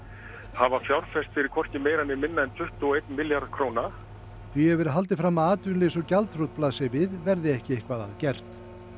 hafa fjárfest fyrir hvorki meira né minna tuttugu og einn milljarð króna því hefur verið haldið fram að atvinnuleysi og gjaldþrot blasi við verði ekki eitthvað að gert